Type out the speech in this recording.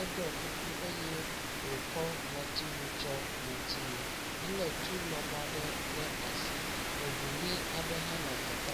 eɖɔ kuku eye wokɔ ŋɔtsiwu tsɔ ŋɔtsinu. Ele tu lɔbɔ ɖe ɖe asi. Eŋu ʋi aɖe hã nɔ teƒea.